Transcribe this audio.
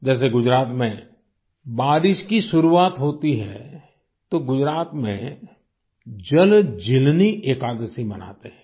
जैसे गुजरात में बारिश की शुरुआत होती है तो गुजरात में जलजीलनी एकादशी मनाते हैं